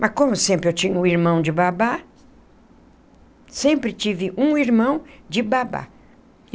Mas como sempre eu tinha um irmão de babá, sempre tive um irmão de babá.